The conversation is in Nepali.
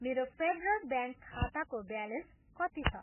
मेरो फेडरल ब्याङ्क खाताको ब्यालेन्स कति छ?